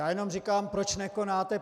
Já jenom říkám, proč nekonáte.